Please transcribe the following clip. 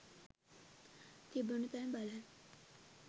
තිබුණු තැන බලන්න.